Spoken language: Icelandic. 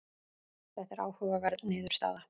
Þetta er áhugaverð niðurstaða.